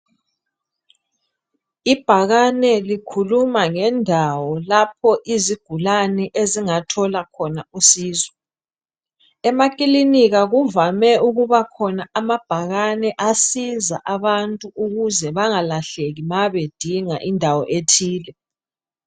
Ibhakane likhuluma ngendawo lapho izigulani ezingathola khona usizo. Emakilinika kuvame ukubakhona amabhakane asiza abantu ukuze bangalahleki ma bedinga indawo ethile.